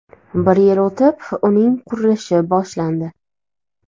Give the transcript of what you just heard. Bir yil o‘tib uning qurilishi boshlandi.